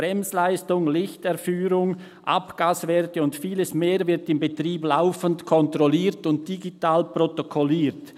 Bremsleistung, Lichterführung, Abgaswerte und vieles mehr wird im Betrieb laufend kontrolliert und digital protokolliert.